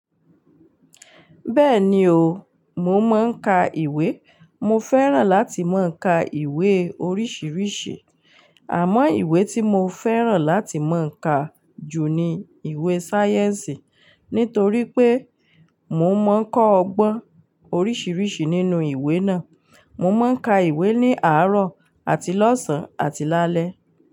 Bẹ́ẹ̀ni o, mo máa ń ka ìwé. Mo fẹ́ràn láti má ń ka ìwé oríṣiríṣi. Àmọ́ ìwé tí mo fẹ́ràn láti máa ń ka jù ni ìwé sáyẹ́ǹsì. Nítorí pé mo máa ń kọ́ ọgbọ́n oríṣiríṣi nínú ìwé náà. Mo máa ń ka ìwé ní àárọ̀ àti lọ́sàn-án àti lálẹ́.